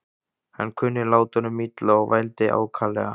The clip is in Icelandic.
Hann kunni látunum illa og vældi ákaflega.